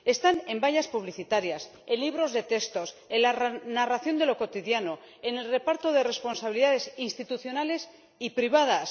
Están en vallas publicitarias, en libros de texto, en la narración de lo cotidiano, en el reparto de responsabilidades institucionales y privadas